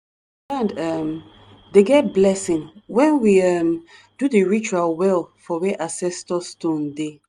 land um dey get blessing when we um do di ritual well for where ancestor stone dey. um